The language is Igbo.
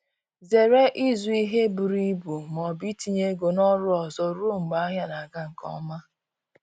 Zere ịzụ ihe buru ibu ma ọbụ itinye ego na oru ọzọ ruo mgbe ahịa na aga nke ọma